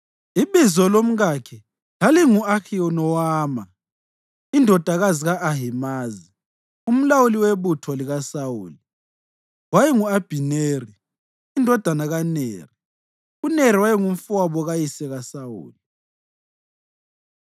Ibizo lomkakhe lalingu-Ahinowama indodakazi ka-Ahimazi. Umlawuli webutho likaSawuli wayengu-Abhineri indodana kaNeri, uNeri wayengumfowabo kayise kaSawuli.